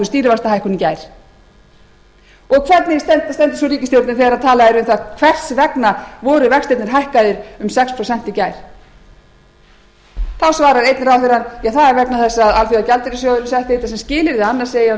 stýrivaxtahækkun í gær hvernig stendur svo ríkisstjórnin þegar talað er um að hvers vegna voru vextirnir hækkaðir um sex prósent í gær þá svaraði einn ráðherra það er vegna þess að alþjóðagjaldeyrissjóðurinn setti þetta sem skilyrði annar sagði